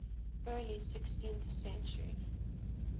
early sixteenth century